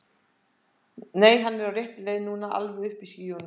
Nei, hann er á réttri leið núna. alveg uppi í skýjunum.